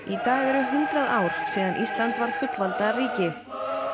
í dag eru hundrað ár síðan Ísland varð fullvalda ríki